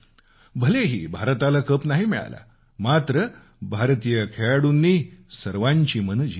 भलेही भारताला चषक नाही मिळाला मात्र भारतीय खेळाडूंनी सर्वांची मनं जिंकली